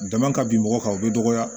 Dama ka bin mɔgɔ kan o bɛ dɔgɔya